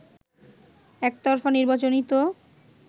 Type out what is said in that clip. “একতরফা নির্বাচনই তো